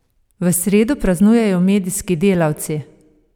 V sredo praznujejo medijski delavci!